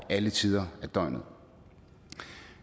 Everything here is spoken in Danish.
alle tider af døgnet